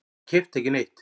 Ég keypti ekki neitt.